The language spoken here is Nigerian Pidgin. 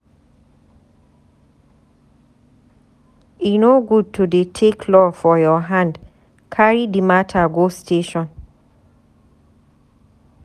E no good to dey take law for your hand, carry di mata go station.